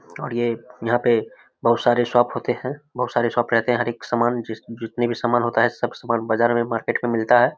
और ये यहां पे बहुत सारे शॉप होते है बहुत सारे शॉप रहते है हर एक सामान जितने भी सामान होते है बाजार मे मार्केट में मिलता है।